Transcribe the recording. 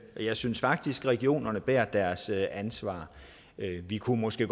jeg synes faktisk at regionerne bærer deres ansvar vi kunne måske